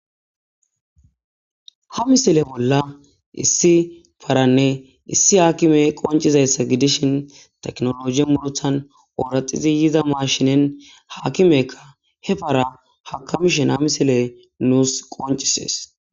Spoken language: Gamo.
ha misile bolla issi paranne issi haakime qoncizayssa gidishin teknologi mulothan ooraxizi yiza maashinen haakimekka he para hakamishen ha misile nuus qoncisees